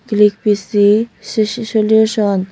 Click P C si si solution.